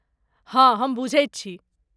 हँ, हम बुझैत छी।